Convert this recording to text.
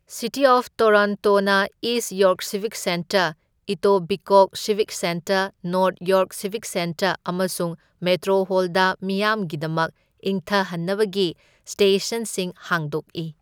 City of ꯇꯣꯔꯣꯟꯇꯣꯅ East York civic centre, Etobicoke civic centre, North York civic centre ꯑꯃꯁꯨꯡ Metro Hall ꯃꯤꯌꯥꯝꯒꯤꯗꯃꯛ ꯏꯪꯊꯍꯟꯅꯕꯒꯤ ꯁ꯭ꯇꯦꯁꯟꯁꯤꯡ ꯍꯥꯡꯗꯣꯛꯏ꯫